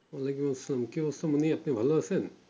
ওয়ালাইকুম আসসালাম কি কর ছো মুন্নি আপনি ভালো আছেন?